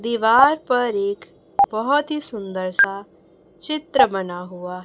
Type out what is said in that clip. दीवार पर एक बहोत ही सुंदर सा चित्र बना हुआ--